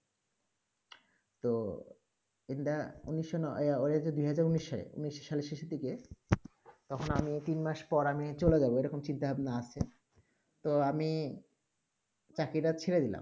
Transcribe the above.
তো ইন দা এ তে দিয়েছে উন্নিসে উনিশ সালে শেষে দিকে তখন আমি তিন মাস পর আমি চলে জায়ি এইরকম চিন্তা ভাবনা আছে তো আমি চাকরি তা ছেড়ে দিলাম